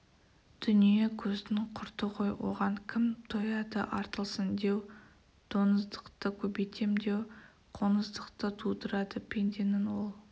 дүние көздің құрты ғой оған кім тояды артылсын деу доңыздықты көбейтем деу қоңыздықты тудырады пенденің ол